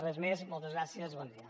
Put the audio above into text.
res més moltes gràcies i bon dia